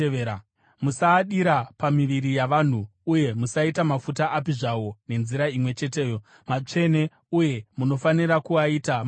Musaadira pamiviri yavanhu uye musaita mafuta api zvawo nenzira imwe cheteyo. Matsvene, uye munofanira kuaita matsvene.